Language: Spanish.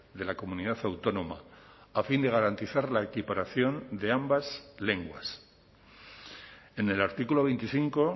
de la comunidad autónoma a fin de garantizar la equiparación de ambas lenguas en el artículo veinticinco